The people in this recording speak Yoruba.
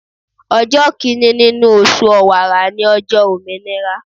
Ọjọ́ Kínní nínú oṣù ọ̀wàrà ni ọjọ́ òmìnira.